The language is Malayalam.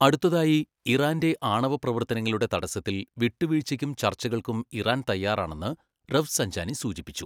അടുത്തതായി, ഇറാന്റെ ആണവ പ്രവർത്തനങ്ങളുടെ തടസ്സത്തിൽ വിട്ടുവീഴ്ചയ്ക്കും ചർച്ചകൾക്കും ഇറാൻ തയ്യാറാണെന്ന് റഫ്സഞ്ചാനി സൂചിപ്പിച്ചു.